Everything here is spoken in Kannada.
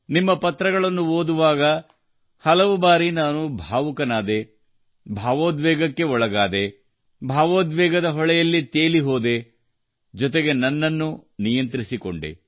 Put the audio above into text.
ನಿಮ್ಮ ಪತ್ರಗಳನ್ನು ಓದುವಾಗ ಹಲವು ಬಾರಿ ನಾನು ಭಾವುಕನಾದೆ ಭಾವೋದ್ವೇಗಕ್ಕೆ ಒಳಗಾದೆ ಭಾವೋದ್ವೇಗದ ಹೊಳೆಯಲ್ಲಿ ತೇಲಿ ಹೋದೆ ಜೊತೆಗೆ ನನ್ನನ್ನೂ ನಿಯಂತ್ರಿಸಿಕೊಂಡೆ